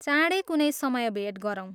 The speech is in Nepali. चाँडै कुनै समय भेट गरौँ।